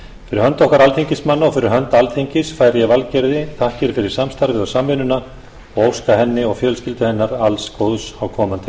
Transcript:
fyrir hönd okkar alþingismanna og fyrir hönd alþingis færi ég valgerði þakkir fyrir samstarfið og samvinnuna og óska henni og fjölskyldu hennar alls góðs á komandi